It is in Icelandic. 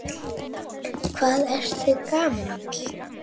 Hvað ertu gamall?